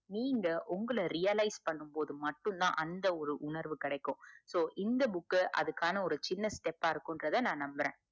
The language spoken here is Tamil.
நீங்க உங்கள realize பண்ணும் போதுமட்டும் தான் அந்த ஒரு உணர்வு கெடைக்கும் so இந்த book அதுக்கான சின்ன step ஆஹ் இருகுங்குரத நம்புறேன்